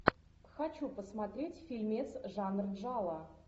хочу посмотреть фильмец жанр джалло